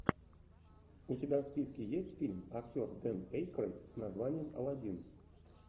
у тебя в списке есть фильм актер дэн эйкройд с названием алладин